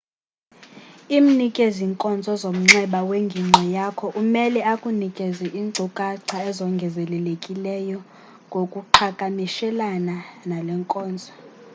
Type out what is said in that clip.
imnikezi nkonzo zomnxeba wengingqi yakho umele akunikeze inkcukacha ezongezelelekileyo ngokuqhakamishelana nalenkonzo